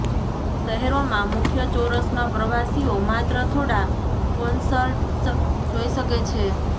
શહેરોમાં મુખ્ય ચોરસમાં પ્રવાસીઓ માત્ર થોડા કોન્સર્ટ્સ જોઇ શકે છે